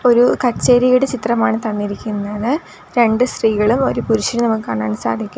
ഒരു കച്ചേരിയുടെ ചിത്രമാണ് തന്നിരിക്കുന്നത് രണ്ടു സ്ത്രീകളും ഒരു പുരുഷനും നമുക്ക് കാണാൻ സാധിക്കു --